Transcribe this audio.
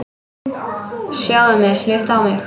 Sjáðu mig, líttu á mig.